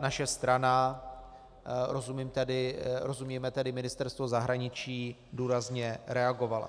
naše strana, rozumíme tedy Ministerstvo zahraničí, důrazně reagovala.